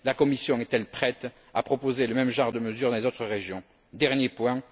La Commission est elle prête à proposer le même genre de mesures dans les autres régions? Dernier point.